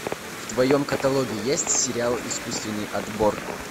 в твоем каталоге есть сериал искусственный отбор